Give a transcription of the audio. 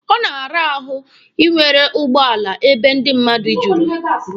Ọ na-ara ahụ inwere ụgbọala ebe ndị mmadụ juru.